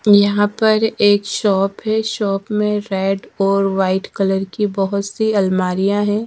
यहां पर एक शॉप है शॉप में रेड और वाइट कलर की बहोत सी अलमारियां हैं।